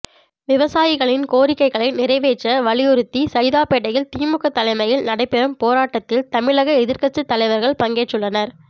விவசாயிகளின் கோரிக்கைகளை நிறைவேற்ற வலியுறுத்தி சைதாப்பேட்டையில் திமுக தலைமையில் நடைபெறும் போராட்டத்தில் தமிழக எதிர் கட்சி தலைவர்கள் பங்கேற்றுள்ளனர்